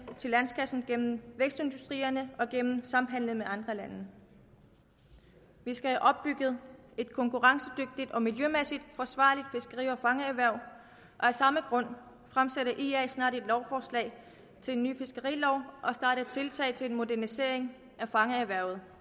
til landskassen gennem vækstindustrierne og gennem samhandelen med andre lande vi skal have opbygget et konkurrencedygtigt og miljømæssigt forsvarligt fiskeri og fangererhverv og af samme grund fremsætter ia snart et lovforslag til en ny fiskerilov og starter tiltag til en modernisering af fangererhvervet